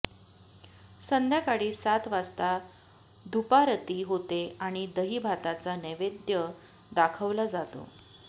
संध्याकाळी सात वाजता धुपारती होते आणि दहीभाताचा नैवेद्य दाखवला जातो